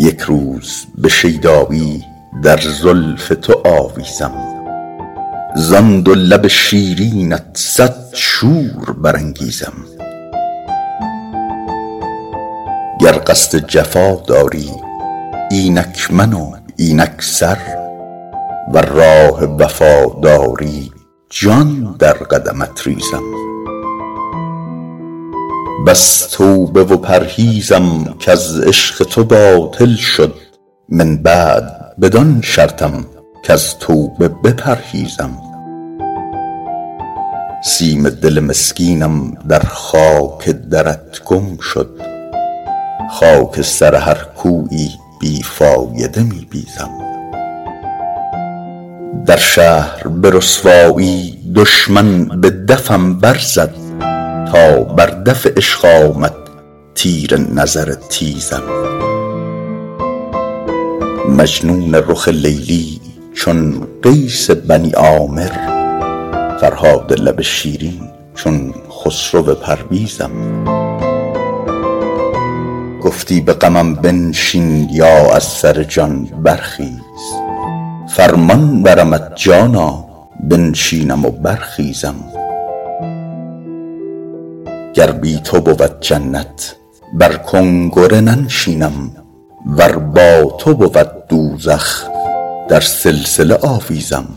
یک روز به شیدایی در زلف تو آویزم زان دو لب شیرینت صد شور برانگیزم گر قصد جفا داری اینک من و اینک سر ور راه وفا داری جان در قدمت ریزم بس توبه و پرهیزم کز عشق تو باطل شد من بعد بدان شرطم کز توبه بپرهیزم سیم دل مسکینم در خاک درت گم شد خاک سر هر کویی بی فایده می بیزم در شهر به رسوایی دشمن به دفم برزد تا بر دف عشق آمد تیر نظر تیزم مجنون رخ لیلی چون قیس بنی عامر فرهاد لب شیرین چون خسرو پرویزم گفتی به غمم بنشین یا از سر جان برخیز فرمان برمت جانا بنشینم و برخیزم گر بی تو بود جنت بر کنگره ننشینم ور با تو بود دوزخ در سلسله آویزم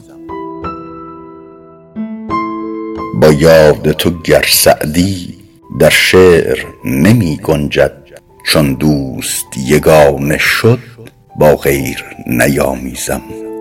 با یاد تو گر سعدی در شعر نمی گنجد چون دوست یگانه شد با غیر نیامیزم